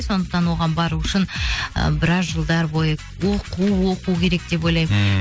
сондықтан оған бару үшін ы біраз жылдар бойы оқу оқу керек деп ойлаймын ммм